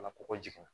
Ka kɔkɔ jigin